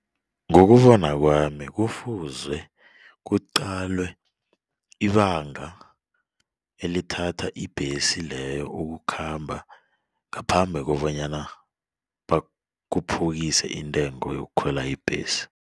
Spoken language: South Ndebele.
Ngokubona kwami kufuze kuqalwe ibanga elithatha ibhesi leyo ukukhamba ngaphambi kobanyana bakhuphukise intengo yokukhwela ibhesi.